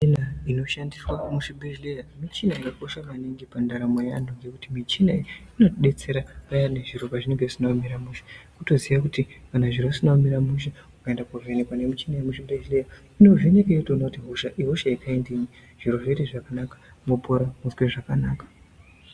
Michina inoshandiswa muzvibhehleya michina yakakosha maningi pandaramo yeantu ngekuti michina iyi inotidetsera payani zviro pazvinenge zvisina kumira mushe. Kutoziya kuti kana zviro zvisina kumira mushe ukaenda koovhenekwa nemichina yemuzvibhedhleya, inovheneka yotoona kuti hosha iyi ihosha yekaindiyi. Zviro zvoite zvakanaka mopora mozwe zvakanaka.